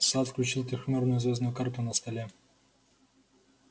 сатт включил трёхмерную звёздную карту на столе